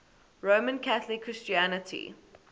roman catholic christianity